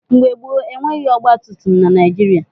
Mgbe gboo, e nweghị ọgbatumtum na Naịjịrịa.